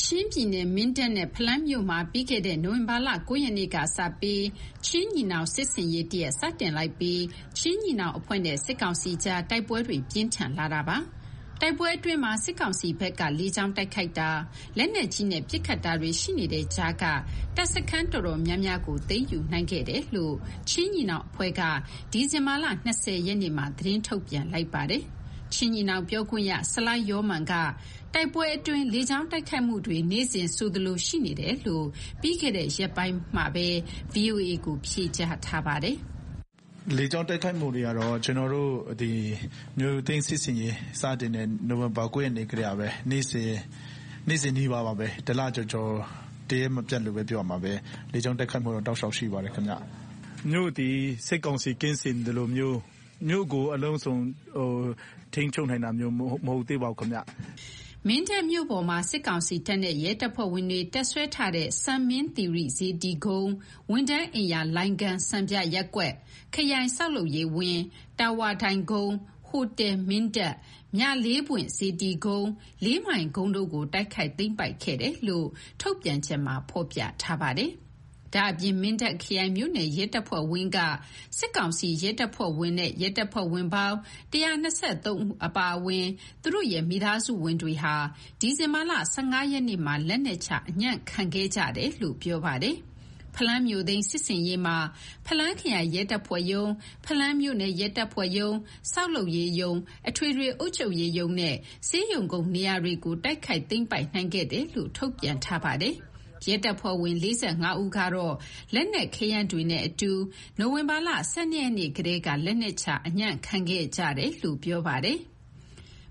ချင်းပြည်နယ်၊ မင်းတပ်နဲ့ ဖလမ်းမြို့မှာ ပြီးခဲ့တဲ့ နိုဝင်ဘာလ ၉ ရက်နေ့ကစပြီး ချင်းညီနောင် စစ်ဆင်ရေးတရပ် စတင်လိုက်ပြီး ချင်းညီနောင်အဖွဲ့နဲ့ စစ်ကောင်စီကြား တိုက်ပွဲတွေ ပြင်းထန်လာတာပါ။ တိုက်ပွဲအတွင်းမှာ စစ်ကောင်စီဘက်က လေကြောင်းတိုက်ခိုက်တာ၊ လက်နက်ကြီးနဲ့ ပစ်ခတ်တာတွေ ရှိနေတဲ့ကြားက တပ်စခန်းတော်တော်များများကို သိမ်းယူနိုင်ခဲ့တယ်လို့ ချင်းညီနောင်အဖွဲ့က ဒီဇင်ဘာ ၂၀ရက်နေ့မှာ သတင်းထုတ်ပြန်လိုက်ပါတယ်။ ချင်းညီနောင်ပြောခွင့်ရ ဆလိုင်းယောမန်က တိုက်ပွဲအတွင်း လေကြောင်းတိုက်ခိုက်မှုတွေ နေ့စဉ်ဆိုသလိုရှိနေတယ်လို့ ပြီးခဲ့တဲ့ ရက်ပိုင်းတုန်းက VOA ကို ဖြေကြားထားပါတယ်။ "လေကြောင်း တိုက်ခိုက်မှုတွေကတော့ ကျနော်တို့ မြို့သိမ်းစစ်ဆင်ရေး စတင်တဲ့ နိုဝင်ဘာ ၉ ရက်နေ့ကတည်းကပဲ။ နေ့စဉ်နီးပါးပါပဲ၊ တလကျော်ကျော်၊ တရက်မပျက်လို့ ပြောရမှာပဲ။ လေကြောင်းတိုက်ခိုက်မှုတော့ တောက်လျှောက်ရှိပါတယ် ခင်ဗျ။ မြို့သည် စစ်ကောင်စီ ကင်းစင်သလိုမျိုး၊ မြို့ကို အလုံးစုံထိန်းချုပ် နိုင်တာမျိုးတော့ မဟုတ်သေးပါဘူးခင်ဗျ။" မင်းတပ်မြို့ပေါ်မှာ စစ်ကောင်စီတပ်နဲ့ ရဲတပ်ဖွဲ့ဝင်တွေ တပ်စွဲထားတဲ့ စံမင်းသီရိစေတီကုန်း၊ ဝန်ထမ်းအိမ်ရာလိုင်းခန်း (စံပြရပ်ကွက်)၊ ခရိုင်ဆောက်လုပ်ရေးဝင်း၊ တာဝါတိုင်ကုန်း၊ ဟိုတယ် (မင်းတပ်)၊ မြလေးပွင့်စေတီကုန်း၊ ၄ မိုင်ကုန်းတို့ကို တိုက်ခိုက်သိမ်းပိုက်ခဲ့တယ်လို့ ဒီကနေ့ထုတ်ပြန်ချက်မှာ ဖော်ပြထားပါတယ်။ ဒါ့အပြင် မင်းတပ်ခရိုင် / မြို့နယ်ရဲတပ်ဖွဲ့ဝင်းက စစ်ကောင်စီတပ်ဖွဲ့ဝင်နဲ့ ရဲတပ်ဖွဲ့ဝင်ပေါင်း ၁၂၃ ဦးအပါအဝင် သူတို့ရဲ့ မိသားစုဝင်တွေဟာ ဒီဇင်ဘာလ ၁၅ ရက်နေ့မှာ လက်နက်ချအညံ့ခံခဲ့ကြတယ်လို့ ပြောပါတယ်။ ဖလမ်းမြို့သိမ်း စစ်ဆင်ရေးမှာ ဖလမ်းခရိုင်ရဲတပ်ဖွဲ့ရုံး၊ ဖလမ်းမြို့နယ်ရဲတပ်ဖွဲ့ရုံး၊ ဆောက်လုပ်ရေးရုံး၊ အထွေထွေအုပ်ချုပ်ရေးရုံးနဲ့ ဆေးရုံကုန်းနေရာတွေကို တိုက်ခိုက်သိမ်းပိုက်နိုင်ခဲ့တယ်လို့ ထုတ်ပြန်ထားပါတယ်။ ရဲတပ်ဖွဲ့ဝင် ၄၅ ဦးကတော့ လက်နက်ခဲယမ်းတွေနဲ့အတူ နိုဝင်ဘာလ ၁၂ ရက်နေ့ကတည်းက လက်နက်ချအညံံ့ခံခဲ့တယ်လို့ ပြောပါတယ်။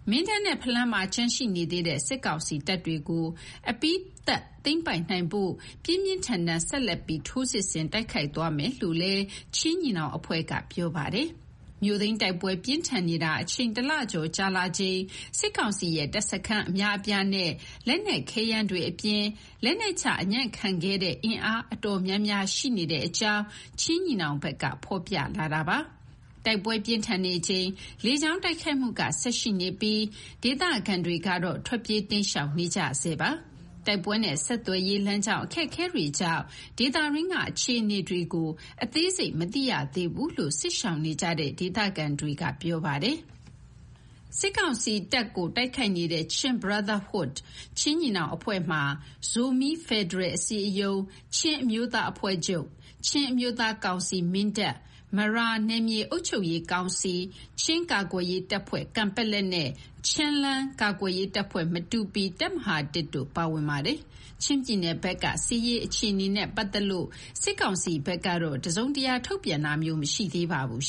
မင်းတပ်နဲ့ ဖလမ်းမှာ ကျန်ရှိနေသေးတဲ့ စစ်ကောင်စီတပ်စခန်းတွေကို အပြီးသတ်သိမ်းပိုက်နိုင်ဖို့ ပြင်းပြင်းထန်ထန် ဆက်လက်ပြီး ထိုးစစ်ဆင်တိုက်ခိုက်သွားမယ်လို့လည်း ချင်းညီနောင်အဖွဲ့က ပြောထားပါတယ်။ မြို့သိမ်းတိုက်ပွဲ ပြင်းထန်နေတာ အချိန် ၁ လကျော်ကြာလာချိန် စစ်ကောင်စီရဲ့ တပ်စခန်းအများအပြားနဲ့ လက်နက်ခဲယမ်းတွေအပြင် လက်နက်ချအညံ့ခံခဲ့တဲ့ အင်အားတော်တော်များများ ရှိနေတဲ့အကြောင်း ချင်းညီနောင်ဘက်က ဖော်ပြလာတာပါ။ တိုက်ပွဲပြင်းထန်နေချိန် လေကြောင်းတိုက်ခိုက်မှုက ဆက်ရှိနေပြီး၊ ဒေသခံတွေကတော့ ထွက်ပြေးတိမ်းရှောင်နေကြတုန်းပါ။ တိုက်ပွဲနဲ့ ဆက်သွယ်ရေး၊ လမ်းကြောင်း အခက်အခဲတွေကြောင့် ဒေသတွင်းက အခြေအနေတွေကို အသေးစိတ်မသိရသေးဘူးလို့ စစ်ရှောင်နေကြတဲ့ ဒေသခံတွေက ပြောပါတယ်။ စစ်ကောင်စီတပ်ကို တိုက်ခိုက်နေတဲ့ (Chin Brotherhood) ချင်းညီနောင်အဖွဲ့မှာ ဇိုမီးဖက်ဒရယ်အစည်းအရုံး၊ ချင်းအမျိုးသားအဖွဲ့ချုပ်၊ ချင်းအမျိုးသားကောင်စီ (မင်းတပ်)၊ မရာနယ်မြေအုပ်ချုပ်ရေးကောင်စီ၊ ချင်းကာကွယ်ရေးတပ်ဖွဲ့ (ကန်ပက်လက်) နဲ့ ချင်းလဲန်းကာကွယ်ရေးတပ်ဖွဲ့ (မတူပီ) တပ်မဟာ (၁) တို့ ပါဝင်ပါတယ်။ချင်းပြည်နယ်ဘက်က စစ်ရေးအခြေအနေနဲ့ပတ်သက်လို့ စစ်ကောင်စီဘက်ကတော့ တစုံတရာ ထုတ်ပြန်တာမျိုး မရှိသေးပါဘူး